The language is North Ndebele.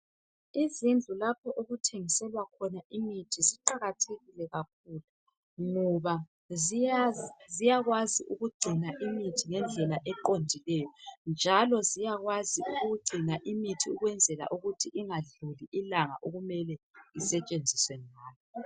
Izindlu lapho okuthengiselwa khona imithi ziqakathekile kakhulu ngoba ziyakwazi ukugcina imithi ngendlela eqondileyo njalo ziyakwazi ukugcina imithi ukwenzela ukuthi ingadluli ilanga okumele isetshenziswe ngalo